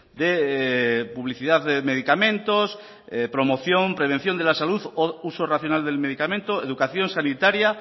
de publicidad de medicamentos promoción prevención de la salud uso racional del medicamento educación sanitaria